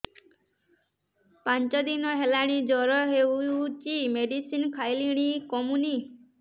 ପାଞ୍ଚ ଦିନ ହେଲାଣି ଜର ହଉଚି ମେଡିସିନ ଖାଇଲିଣି କମୁନି